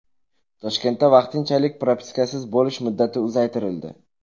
Toshkentda vaqtinchalik propiskasiz bo‘lish muddati uzaytirildi.